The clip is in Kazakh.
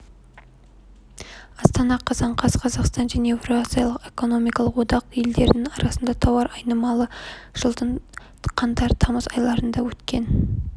астана қазан қаз қазақстан мен еуразиялық экономикалық одақ елдерінің арасындағы тауар айналымы жылдың қаңтар-тамыз айларында өткен